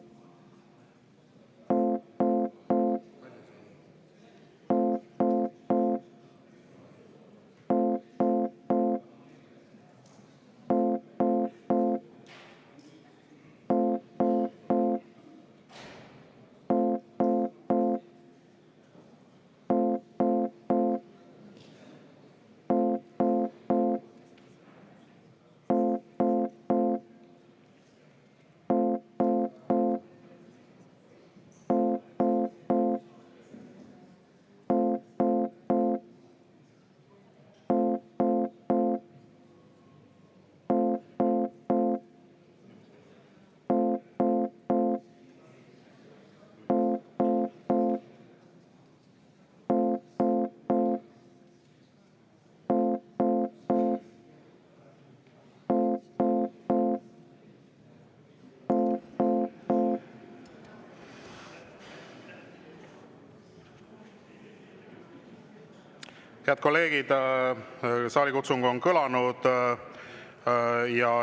Head kolleegid, saalikutsung on kõlanud.